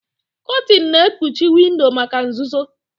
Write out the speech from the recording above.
Kotin na-ekpuchi windo maka nzuzo.